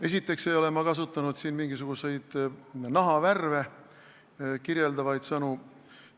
Esiteks ei ole ma siin kasutanud mingisuguseid nahavärve kirjeldavaid sõnu.